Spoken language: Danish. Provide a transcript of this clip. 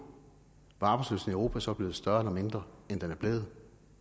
var arbejdsløsheden europa så blevet større eller mindre end den er blevet